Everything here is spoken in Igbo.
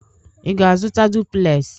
Ị ga-azụta duplez?